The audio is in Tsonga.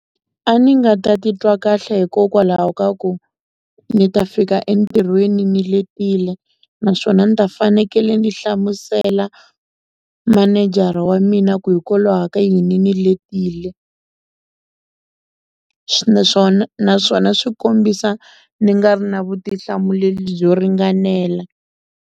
A ni nga ta titwa kahle hikokwalaho ka ku ni ta fika entirhweni ni letile naswona ni ta fanekele ni hlamusela mininjere wa mina ku hikwalaho ka yini ni letile naswona naswona swi kombisa ni nga ri na vutihlamuleri byo ringanela.